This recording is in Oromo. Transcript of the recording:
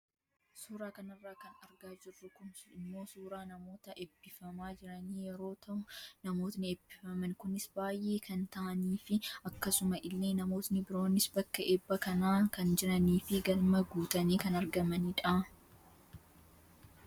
Suuraa kanarraa kan argaa jirru kun immoo suuraa namoota eebbifamaa jiranii yeroo tahu namoonni eebbifaman kunis baayee kan tahaniifi akkasuma illee namootni biroonis bakka eebba kana kan jiraniifi galma guutanii kan argamanidha.